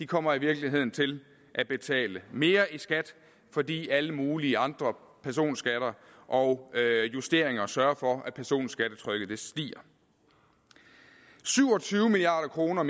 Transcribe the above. kommer i virkeligheden til at betale mere i skat fordi alle mulige andre personskatter og justeringer sørger for at personskattetrykket stiger syv og tyve milliard kroner